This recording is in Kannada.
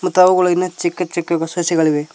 ಮತ್ತು ಅವುಗಳು ಇನ್ನ ಚಿಕ್ಕ ಚಿಕ್ಕ ಸಸಿಗಳಿವೆ.